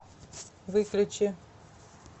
выключи